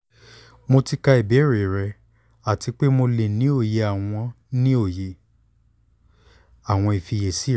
mo ti ka ìbéèrè rẹ ati pe mo le ni oye awọn ni oye awọn ifiyesi rẹ